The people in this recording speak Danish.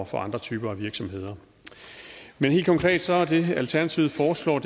til andre typer af virksomheder men helt konkret er det alternativet foreslår at